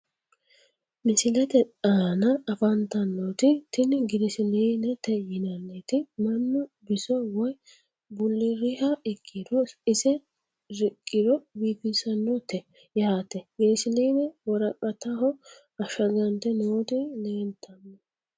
Misilete aana afantanoti tini girsilinete yinaniti mannu biso woyi buliriha ikiro ise riqiro bifisanote yaate girsiline woraqataho ashagante nooti leltano.